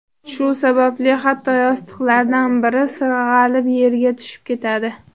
Shu sababli hatto yostiqlardan biri sirg‘alib yerga tushib ketadi.